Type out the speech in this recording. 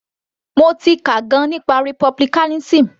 Mo ti kà gan - an nípa republicanism.